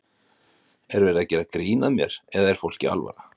Er verið að gera grín að mér eða er fólki alvara?